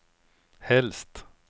helst